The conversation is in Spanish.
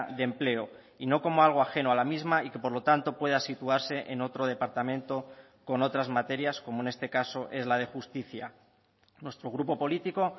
de empleo y no como algo ajeno a la misma y que por lo tanto pueda situarse en otro departamento con otras materias como en este caso es la de justicia nuestro grupo político